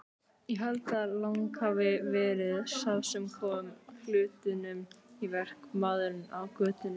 Ég held að Lang hafi verið sá sem kom hlutunum í verk, maðurinn á götunni.